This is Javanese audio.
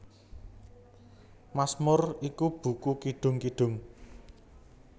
Masmur iku buku kidung kidung